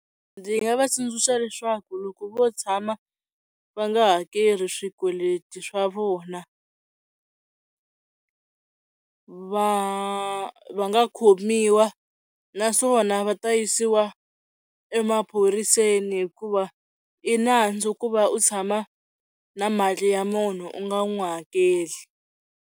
Ndzi nga va tsundzuxa leswaku loko vo tshama va nga hakeli swikweleti swa vona va va nga khomiwa naswona va ta yisiwa emaphoriseni hikuva i nandzu ku va u tshama na mali ya munhu u nga n'wi hakeli.